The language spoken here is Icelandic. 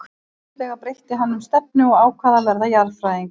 En fljótlega breytti hann um stefnu og ákvað að verða jarðfræðingur.